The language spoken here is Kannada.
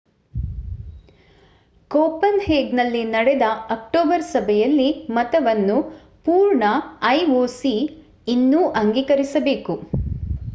ಕೋಪನ್‌ಹೇಗನ್‌ನಲ್ಲಿ ನಡೆದ ಅಕ್ಟೋಬರ್ ಸಭೆಯಲ್ಲಿ ಮತವನ್ನು ಪೂರ್ಣ ಐಒಸಿ ಇನ್ನೂ ಅಂಗೀಕರಿಸಬೇಕು